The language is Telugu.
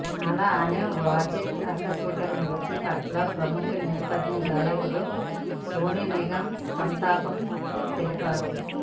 అలానే వాజిద్ ఆకస్మిక మృతి పట్ల ప్రముఖ నేపథ్య గాయకుడు సోనునిగం సంతాపం తెలిపారు